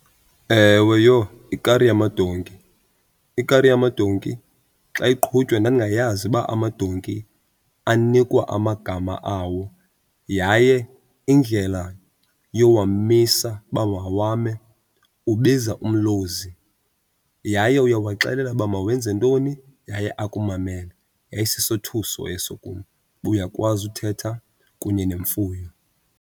Ewe, yho, ikari yamadonki. Ikari yamadonki xa iqhutywa ndandingayazi uba amadonki anikwa amagama awo yaye indlela yowamisa uba mawame ubiza umlozi. Yaye uyawaxelela uba mawenze ntoni yaye akumamele. Yayisisothuso eso kum uba uyakwazi uthetha kunye nemfuyo.